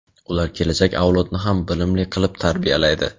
ular kelajak avlodni ham bilimli qilib tarbiyalaydi.